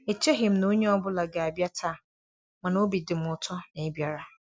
E cheghị m na onye ọ bụla ga-abịa taa, mana obi dị m ụtọ na ị́ bịara.